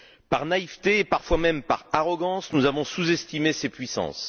Par naïveté et, parfois même, par arrogance, nous avons sous estimé ces puissances.